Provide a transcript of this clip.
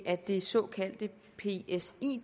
af det såkaldte psi